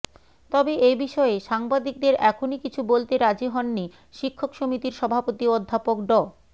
তবে এ বিষয়ে সাংবাদিকদের এখনই কিছু বলতে রাজি হননি শিক্ষক সমিতির সভাপতি অধ্যাপক ড